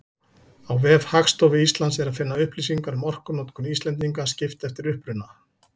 Á vef Hagstofu Íslands er að finna upplýsingar um orkunotkun Íslendinga, skipt eftir uppruna.